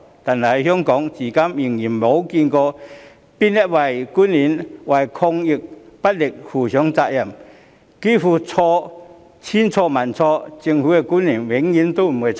但是，香港至今仍未見有任何官員需要為抗疫不力負上責任，似乎千錯萬錯，政府官員永遠沒有錯。